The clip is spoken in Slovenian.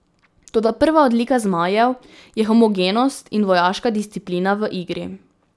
Toda prva odlika zmajev je homogenost in vojaška disciplina v igri.